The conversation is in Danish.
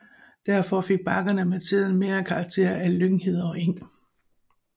Derfor fik bakkerne med tiden mere karakter af lynghede og eng